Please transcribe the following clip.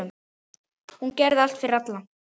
Hún gerði allt fyrir alla.